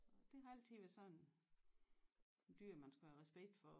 Det har altid været sådan en dyr man skal have respekt for og